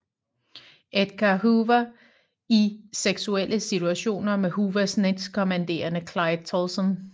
Edgar Hoover i seksuelle situationer med Hoovers næstkommanderende Clyde Tolson